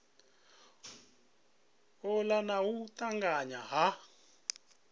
ola na u tanganya ha